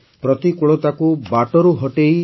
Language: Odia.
ପ୍ରତିକୂଳତାକୁ ବାଟରୁ ହଟେଇ